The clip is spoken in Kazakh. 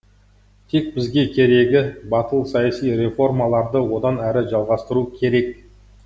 тек бізге керегі батыл саяси реформаларды одан әрі жалғастыру керек